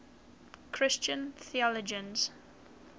christian theologians